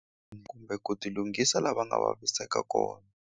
Kumbe ku ti lunghisa la va nga vaviseka kona.